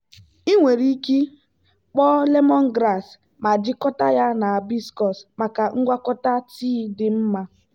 ị nwere ike kpoo lemongrass ma jikọta ya na hibiscus maka ngwakọta tii dị mma.